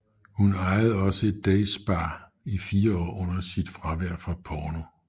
Hun ejede også et day spa i fire år under sit fravær fra porno